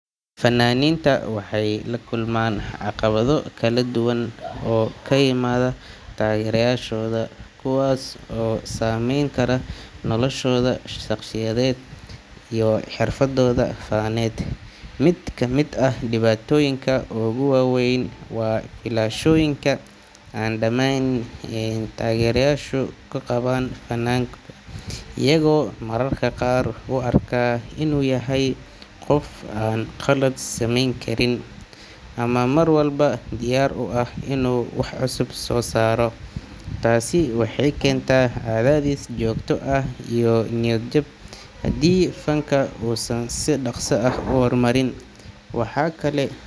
Fanaaniinta waxay la kulmaan caqabado kala duwan oo ka yimaada taageerayaashooda, kuwaas oo saameyn kara noloshooda shaqsiyeed iyo xirfaddooda faneed. Mid ka mid ah dhibaatooyinka ugu waaweyn waa filashooyinka aan dhammaanayn ee taageerayaashu ka qabaan fanaanka, iyagoo mararka qaar u arka inuu yahay qof aan qalad samayn karin ama mar walba diyaar u ah inuu wax cusub soo saaro. Taasi waxay keentaa cadaadis joogto ah iyo niyad-jab haddii fanka uusan si dhaqso ah u horumarin. Waxaa kale.